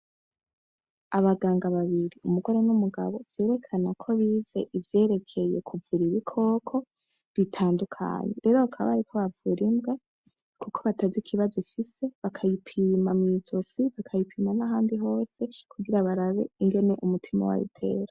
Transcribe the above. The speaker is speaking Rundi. Abaganga babiri, umugore n'umugabo vyerekana ko bize ivyerekeye kuvura ibikoko bitandukanye, rero bakaba bariko bavura imbwa kuko batazi ikibazo ifise bakayipima mw'izosi bakayipima n'ahandi hose kugira barabe ingene umutima wayo utera.